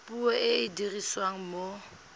puo e e dirisiwang mo